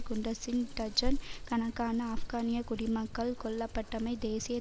குண்டுஸில் dozen கணக்கான ஆப்கானிய குடிமக்கள் கொல்லப்பட்டமை தேசிய